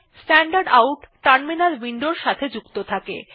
standard out terminal উইন্ডোর সাথে সংযুক্ত থাকে